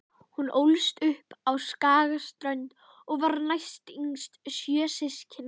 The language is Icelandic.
Hún ólst upp á Skagaströnd og var næstyngst sjö systkina.